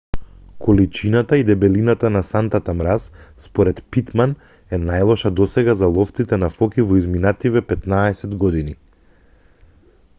количината и дебелината на сантата мраз според питман е најлоша досега за ловците на фоки во изминативе 15 години